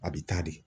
A bi taa de